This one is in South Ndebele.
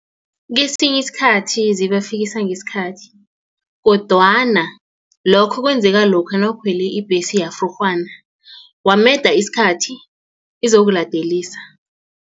Kesinye isikhathi zibafikisa ngesikhathi kodwana lokho kwenzeka lokha nawukhwela ibhesi yafrurhwana wameda isikhathi izokuladelisa.